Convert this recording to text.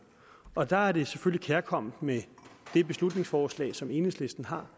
og der er det kærkomment med det beslutningsforslag som enhedslisten har